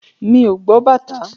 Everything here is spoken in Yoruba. Mi ò gbọ́ bàtá.